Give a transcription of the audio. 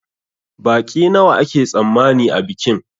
Baƙi nawa ake tsammani a bikin?